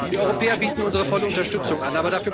Wir Europäer bieten unsere volle Unterstützung an.